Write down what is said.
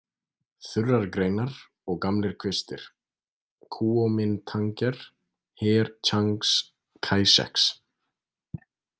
Þurrar greinar og gamlir kvistir: Kúómintangher, her Tsjangs Kæsjeks.